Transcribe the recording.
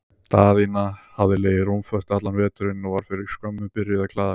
Daðína hafði legið rúmföst allan veturinn og var fyrir skömmu byrjuð að klæða sig.